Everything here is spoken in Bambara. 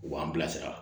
U b'an bilasira